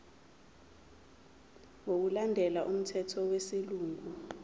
ngokulandela umthetho wesilungu